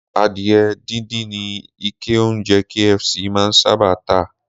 Adìyẹ díndín ni ikẹ oúnjẹ KFC máa ń sábà tà